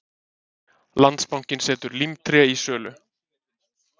Landsbankinn setur Límtré í sölu